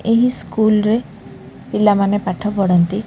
ଏହି ସ୍କୁଲ୍ ରେ ପିଲାମାନେ ପାଠପଢନ୍ତି ।